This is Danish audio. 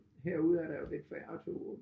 Herude er der jo lidt færre toge